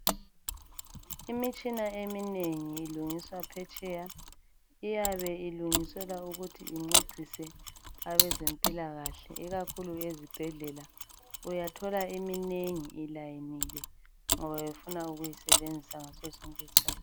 Imitshina eminengi ilungiswa phetsheya. Iyabe ilungiselwa ukuthi incedise abezempilakahle ikakhulu ezibhedlela. Uyathola iminengi ilayinile ngoba befuna ukuyisebenzisa ngaso sonke isikhathi.